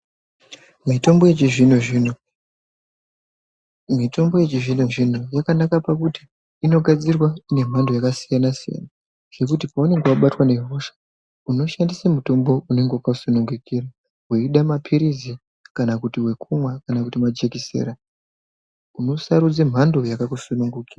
Mitombo yechizvino-zvino yakanake pakuti inogadzirwa nemhando yakasiyana- siyana yekuti paunonga wabatwa ngehosha unoshandise mutombo unonga wakakusunungukira, weide mapirizi kana kuti wekumwa kana kuti majekisera. Unosarudze mhando yakakusunungukira.